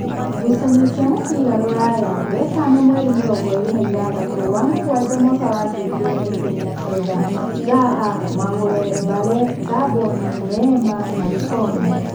Ngucanio cia mũbira Ruraya Wetano mweri mĩrongoĩrĩ na ithathatũ wa-mũgwanja mwaka wa ngiri igĩrĩ na ikũmi na kenda: Zaha, Magũre, Mbale, Ngamboni, Neema, Malikomu.